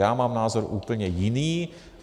Já mám názor úplně jiný.